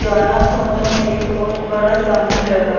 जोना फोटो में एक बहुत बड़ा समुन्द्र बा।